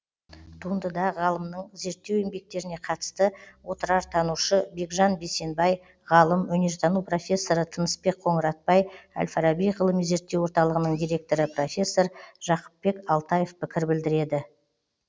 туындыда ғалымның зерттеу еңбектеріне қатысты отырартанушы бекжан бейсенбай ғалым өнертану профессоры тынысбек қоңыратбай әл фараби ғылыми зерттеу орталығының директоры профессор жақыпбек алтаев пікір білдіреді